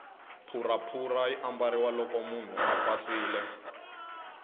phuraphura yi ambariwa loko munhu a pasile